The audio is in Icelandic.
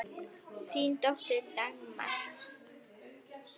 Þín dóttir, Dagmar.